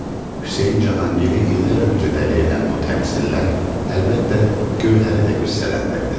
Hüseyn Cahangiri illər öncə dəli edən bu təmsillər, əlbəttə, Gövhəri də qüssələndirdi.